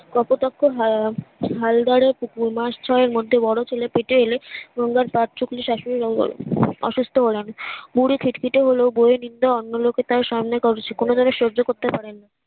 কপোতাক্ষের হল দারের পুকুর মাস ছয়ের মধ্যে বড়ো ছেলে পেতে এলে মন্দের পাত্র গুলি শাশুড়ি অসুস্থ হলাম বুড়ি খিটখিটে হলেও বৌ এর নিন্দা অন্য লোকের সামনে কোনো দিন সহ্য করতে পারেন না